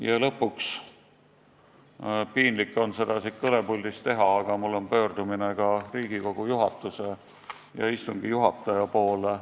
Ja lõpuks, piinlik on seda siit kõnepuldist teha, aga tahan pöörduda ka Riigikogu juhatuse ja istungi juhataja poole.